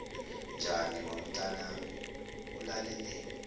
njani ngomntanami ulaleleni